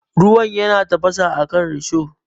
Ruwan yana tafasa akan risho.